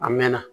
A mɛɛnna